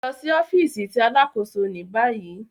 Lọ si ọfiisi ti Alakoso ni bayi